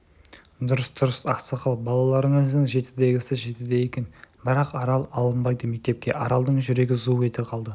дұрыс дұрыс ақсақал балаларыңыздың жетідегісі жетіде екен бірақ арал алынбайды мектепке аралдың жүрегі зу ете калды